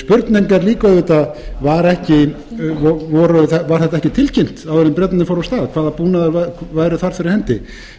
spurning er líka auðvitað var þetta ekki tilkynnt áður en bretarnir fóru af stað hvaða búnaður væri þar fyrir hendi eða